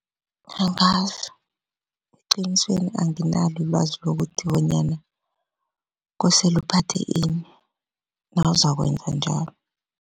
Angazi eqinisweni anginalo ilwazi lokuthi bonyana kosele uphathe ini nawuzakwenza njalo.